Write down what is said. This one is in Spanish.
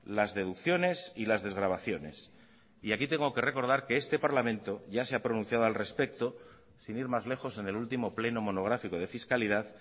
las deducciones y las desgravaciones y aquí tengo que recordar que este parlamento ya se ha pronunciado al respecto sin ir más lejos en el último pleno monográfico de fiscalidad